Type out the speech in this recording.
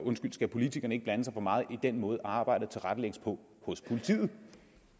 skal politikerne ikke blande sig for meget i den måde arbejdet tilrettelægges på hos politiet